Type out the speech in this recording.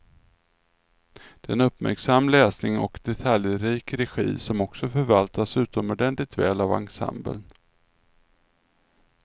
Det är en uppmärksam läsning och detaljrik regi som också förvaltas utomordentligt väl av ensemblen.